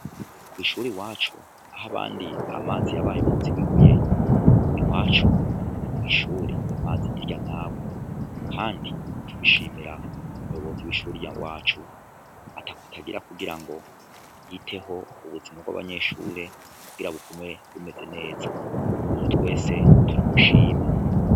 Kw'ishuri i wacu aho abandi amazi yabaye muzi wibuye i wacu kw'ishure amazi ni rya nagwe, kandi tubishimira umuyobozi w'ishuriya wacu atakw atagira kugira ngo yiteho ubuzima bw'abanyeshure kugira bugume bumeze neza ezo twese turamshima.